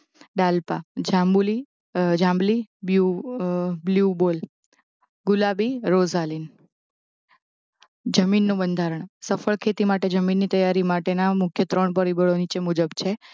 ડાલ્પા, જાંબુલી જાંબલી, બ્લ્યુ અ અ અ અ બોય ગુલાબી રોજાલીન જમીનનું બંધારણ સફળ ખેતી માટે જમીનની તૈયારી માટેના મુખ્ય ત્રણ પરિબળો નીચે મુજબ છે